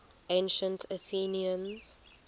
ancient athenians